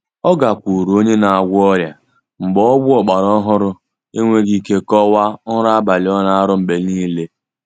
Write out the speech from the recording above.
Ọ gakwuuru onye na-agwọ ọrịa mgbe ọgwụ ọgbara ohụrụ enweghi ike kọwaa nrọ abalị ọ na-aro mgbe nile.